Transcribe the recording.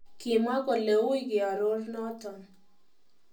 Kimwa kole uui keororo noton.